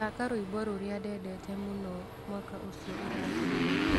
thaaka rwĩmbo rũrĩa ndendete mũno mwaka ũcio ũrathirire